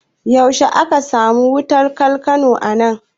Yaushe aka samu aman wutar balkano anan?